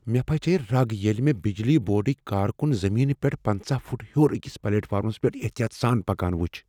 مےٚ پھچییہ رگ ییٚلہ مےٚ بجلی بورڈٕکۍ کارکن زمین پیٹھٕ پَنژہَ فُٹ ہیوٚر أکس پلیٹ فارمس پیٹھ احتیاط سان پکنان وٕچھ